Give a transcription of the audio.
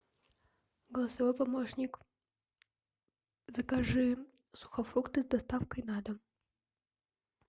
голосовой помощник закажи сухофрукты с доставкой на дом